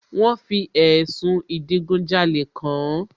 Wọ́n fi ẹ̀sùn ìdigunjalè kàán